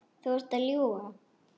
Þú ert að ljúga!